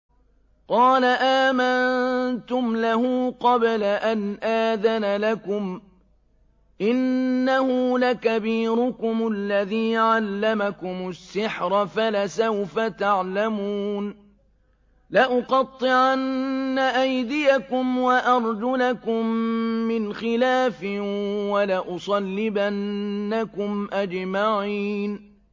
قَالَ آمَنتُمْ لَهُ قَبْلَ أَنْ آذَنَ لَكُمْ ۖ إِنَّهُ لَكَبِيرُكُمُ الَّذِي عَلَّمَكُمُ السِّحْرَ فَلَسَوْفَ تَعْلَمُونَ ۚ لَأُقَطِّعَنَّ أَيْدِيَكُمْ وَأَرْجُلَكُم مِّنْ خِلَافٍ وَلَأُصَلِّبَنَّكُمْ أَجْمَعِينَ